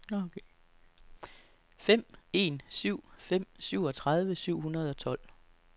fem en syv fem syvogtredive syv hundrede og tolv